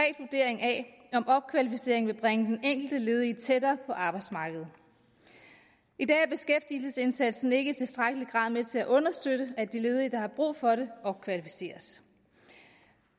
af om opkvalificering vil bringe den enkelte ledige tættere på arbejdsmarkedet i dag er beskæftigelsesindsatsen ikke i tilstrækkelig grad med til at understøtte at de ledige der har brug for det opkvalificeres